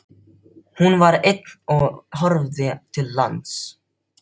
Hún var ein á og horfði til lands.